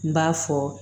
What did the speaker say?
N b'a fɔ